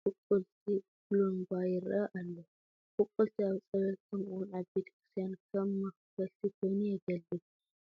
ቡቑልቲ ባሎንጓ ይርአ ኣሎ፡፡ ብቁልቲ ኣብ ፀበል ከምኡውን ኣብ ቤተ ክርስቲያን ከም መኽፈልቲ ኮይኑ የገልግል፡፡